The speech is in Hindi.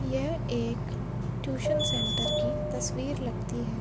यह एख टूशन सेण्टर की तस्वीर लगती है।